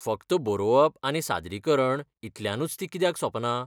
फकत बरोवप आनी सादरीकरण ईतल्यानूच ती कित्याक सोंपना?